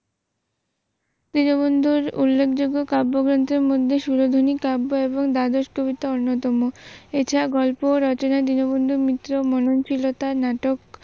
দীনবন্ধুর উল্লেখযোগ্য কাব্যগ্রন্থের মধ্যে সুরধ্বনি কাব্য এবং দ্বাদশ কবিতা অন্যতম । এছাড়া গল্প ও রচনায় দীনবন্ধুর মিত্রের মননশীলতা নাটক